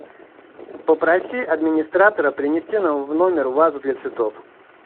попроси администратора принести нам в номер вазу для цветов